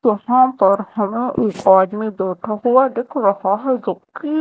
यहां पर हमे एक आदमी बैठा हुआ दिख रहा हैं जो कि--